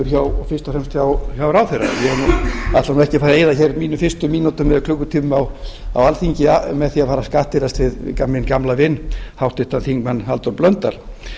fyrst og fremst hjá ráðherra ég ætla nú ekki að fara að eyða mínum fyrstu mínútum eða klukkutímum á alþingi með því að fara að skattyrðast við minn gamla vin háttvirtur þingmaður halldór blöndal